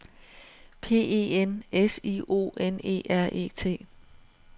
P E N S I O N E R E T